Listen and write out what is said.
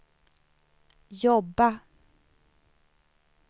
jobba